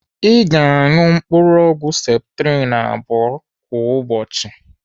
Ị ga-anụ mkpụrụ ọgwụ septrin abụọ kwa ụbọchị.